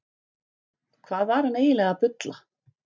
Hvað var hann eiginlega að bulla?